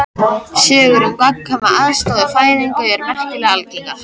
Sögur um gagnkvæma aðstoð við fæðingar eru merkilega algengar.